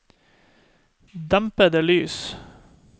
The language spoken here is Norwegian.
dempede lys